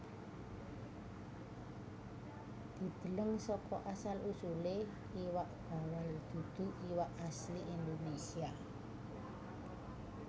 Dideleng saka asal usulé Iwak bawal dudu iwak asli Indonesia